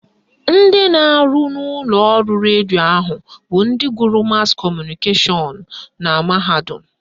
Ndị na-arụ n'ụlọọrụ redio ahụ bụ ndị gụrụ mas kọmụnikeshọn na mahadum